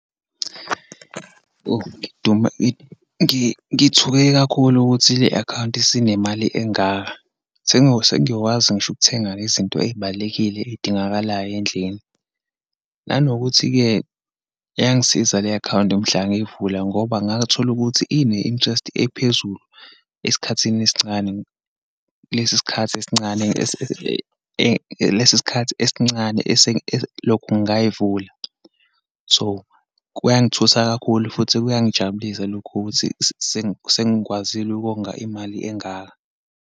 Oh, ngidume, ngithuke kakhulu ukuthi le-akhawunti isinemali engaka. Sengiyokwazi ngisho ukuthenga izinto eyibalulekile, eyingakalayo endlini. Nanokuthi-ke, yangisiza le-akhawunti mhla ngeyivula ngoba ngathola ukuthi ine-interest ephezulu esikhathini esincane, kulesi sikhathi esincane lesikhathi esincane eselokhu ngayivula. So, kuyangithusa kakhulu futhi kuyangijabulisa lokhu ukuthi sengikwazile ukonga imali engaka.